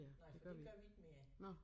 Nej for det gør vi ikke mere